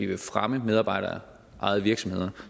vil fremme medarbejderejede virksomheder